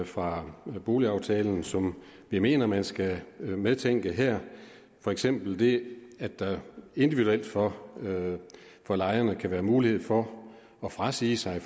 fra boligaftalen som jeg mener at man skal medtænke her for eksempel det at der individuelt for for lejerne kan være mulighed for at frasige sig